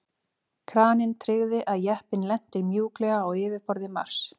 Kraninn tryggði að jeppinn lenti mjúklega á yfirborði Mars.